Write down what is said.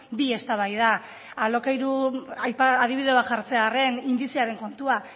bi eztabaida alokairuan adibide bat jartzea arren indizearen kontuan